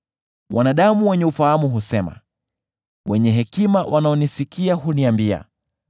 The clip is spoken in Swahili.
“Wanadamu wenye ufahamu husema, wenye hekima wanaonisikia huniambia,